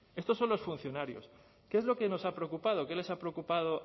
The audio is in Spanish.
estos son los funcionarios qué es lo que nos ha preocupado qué les ha preocupado